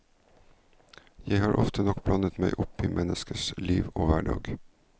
Jeg har ofte nok blandet meg opp i menneskenes liv og hverdag.